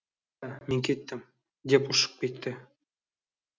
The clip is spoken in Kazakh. мен кеттім деп ұшып кетіпті